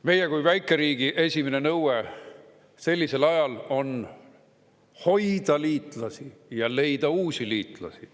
Meie kui väikeriigi esimene nõue sellisel ajal on hoida liitlasi ja leida uusi liitlasi.